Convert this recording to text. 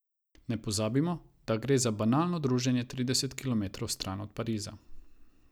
Ne pozabimo, da gre za banalno druženje trideset kilometrov stran od Pariza.